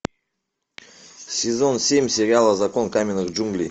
сезон семь сериала закон каменных джунглей